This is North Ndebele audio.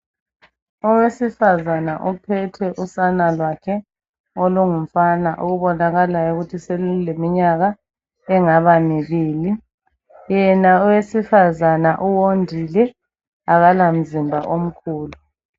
Owesifazana uphethe usana lwakhe olungumfana okubonakalayo ukuthi seluleminyaka engaba mibili yena owesifazana uwondile akala mzimba omkhulu.